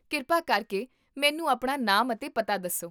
ਕਿਰਪਾ ਕਰਕੇ ਮੈਨੂੰ ਆਪਣਾ ਨਾਮ ਅਤੇ ਪਤਾ ਦੱਸੋ